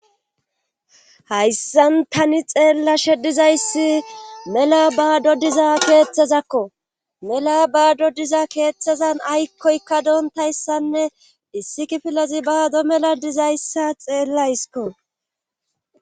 Hayssan tani xeella she dizayssi mela baado diza keeththezakko mela baado diza keeththezan aykkoykka doontayssanne issi kifilezi baado mela dizayssa xeellayskko.